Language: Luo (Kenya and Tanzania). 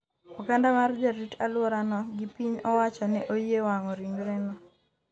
oganda mar jarit alwora no gi piny owacho ne oyie wang'o ringre no